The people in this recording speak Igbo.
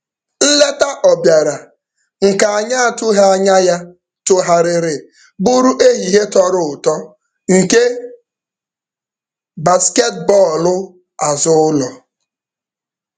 Nleta ọ bịara, nke anyị atụghị anya ya tụgharịrị bụrụ ehihie tọrọ ụtọ nke basketbọọlụ azụụlọ.